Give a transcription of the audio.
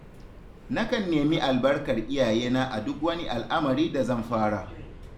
Nakan nemi albarkar iyayena a duk wani al'amari da zan fara.